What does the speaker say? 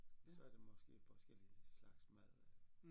Så er det måske forskellige slags mad eller